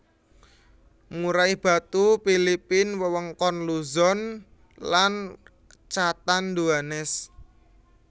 Murai batu Philippine wewengkon Luzon dan Catanduanes